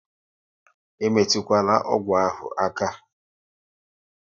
E metukwala ọgwụ ahụ aka!